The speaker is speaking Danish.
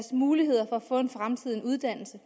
muligheder for at få en fremtid en uddannelse